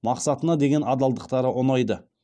мақсатына деген адалдықтары ұнайды